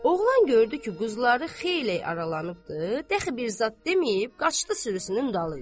Oğlan gördü ki, quzular xeylək aralanıbdır, dəxi bir zad deməyib qaçdı sürüsünün dalınca.